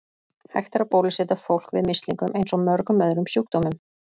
Hægt er að bólusetja fólk við mislingum eins og mörgum öðrum sjúkdómum.